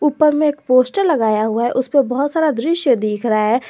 ऊपर में एक पोस्टर लगाया हुआ है उस पे बहुत सारा दृश्य दिख रहा है।